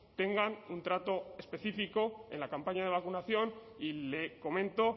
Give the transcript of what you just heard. tengan un trato específico en la campaña de vacunación y le comento